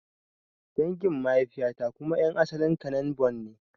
Dangin mahaifiya ta kuma ƴan asalin Kanen Bornn ne